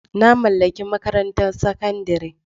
Na mallaki makarantar sakandare.